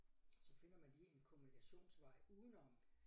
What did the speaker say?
Så finder man lige en kommunikationsvej udenom